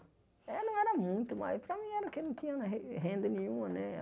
Eh não era muito, mas para mim era que eu não tinha na re renda nenhuma né.